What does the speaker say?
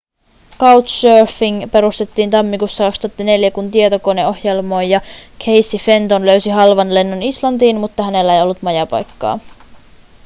couchsurfing perustettiin tammikuussa 2004 kun tietokoneohjelmoija casey fenton löysi halvan lennon islantiin mutta hänellä ei ollut majapaikkaa